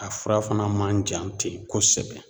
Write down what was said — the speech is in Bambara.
A fura fana man jan ten kosɛbɛ